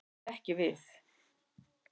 Það átti ekki við.